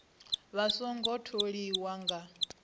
vha a songo tholiwa nga